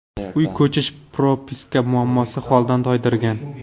Uy, ko‘chish, propiska muammosi holdan toydirgan.